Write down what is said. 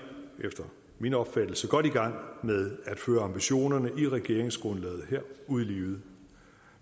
efter min opfattelse godt i gang med at føre ambitionerne i regeringsgrundlaget ud i livet og